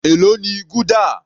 Èló ni gúdà?